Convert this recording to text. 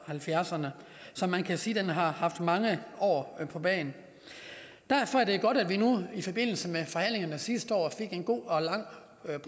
halvfjerdserne så man kan sige at den har haft mange år på bagen derfor er det godt at vi i forbindelse med forhandlingerne sidste år fik en god og lang